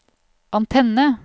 antenne